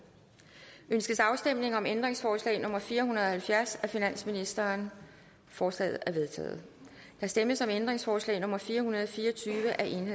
ønskes afstemning om ændringsforslag nummer fire hundrede og halvfjerds af finansministeren forslaget er vedtaget der stemmes om ændringsforslag nummer fire hundrede og fire og tyve af el